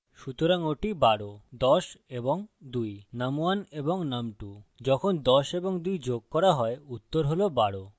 সুতরাং ওটি ১২ ১০ এবং ২ num1 এবং num2 যখন ১০ এবং ২ যোগ করা হয় উত্তর হল ১২